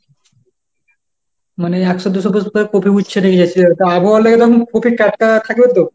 মানে একশো দুশো piece করে কপি উঠছে তা আবহাওয়া লেগে এরকম কপি টাটকা থাকবে তো?